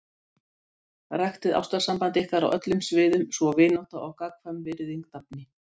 Vildi gjarna fá að ræða nánar við hann um þetta með félagsgjaldið.